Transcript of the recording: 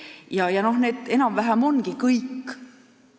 Jah, aga need enam-vähem ongi kõik.